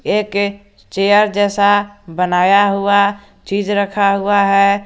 एक चेयर जैसा बनाया हुआ चीज रखा हुआ है।